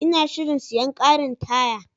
Ina shirin siyan karin taya.